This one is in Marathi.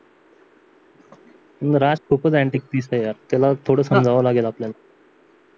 राज खूपच अँटिक पीस आहे यार त्याला थोडं सांगावं लागेल आपल्याला